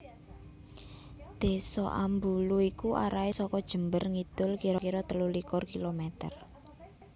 Désa Ambulu iku arahe saka Jember ngidul kira kira telulikur kilometer